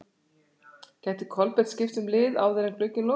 Gæti Kolbeinn skipt um lið áður en glugginn lokar?